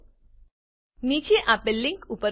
નીચે આપેલ લીંક પર ઉપલબ્ધ વિડીયો જુઓ